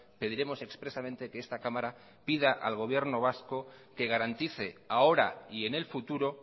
pediremos expresamente que esta cámara pida al gobierno vasco que garantice ahora y en el futuro